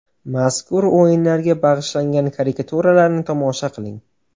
Mazkur o‘yinlarga bag‘ishlangan karikaturalarni tomosha qiling.